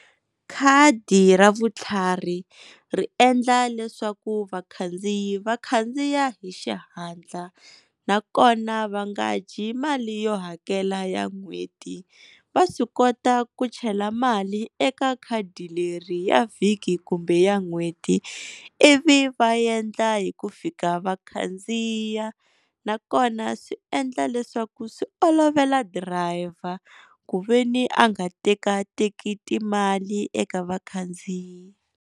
Khadi ra vutlhari ri endla leswaku vakhandziyi va khandziya hi xihatla, nakona va nga dyi mali yo hakela ya n'hweti va swi kota ku chela mali eka khadi leri ya vhiki kumbe ya n'hweti, ivi va endla hi ku fika va khandziya nakona swi endla leswaku swi olovela driver ku veni a nga tekateki timali eka vakhandziyi.